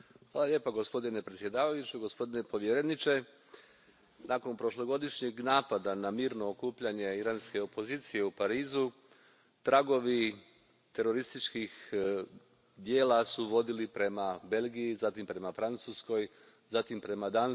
Gospodine predsjedavajući, gospodine povjereniče, nakon prošlogodišnjeg napada na mirno okupljanje iranske opozicije u Parizu, tragovi terorističkih djela vodili su prema Belgiji, zatim prema Francuskoj, zatim prema Danskoj.